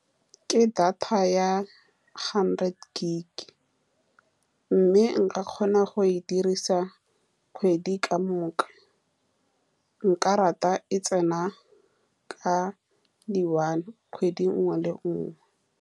Ke data ya hundred gig-e, mme nka kgona go e dirisa kgwedi ka moka. Nka rata e tsena ka di one kgwedi e nngwe le e nngwe.